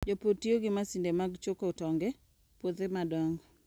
Jopur tiyo gi masinde mag choko tong' e puothe madongo.